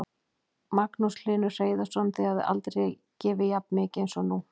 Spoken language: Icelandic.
Magnús Hlynur Hreiðarsson: Þið hafið aldrei gefið jafn mikið eins og núna?